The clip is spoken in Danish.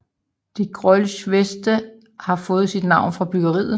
De Grolsch Veste har fået sit navn fra bryggeriet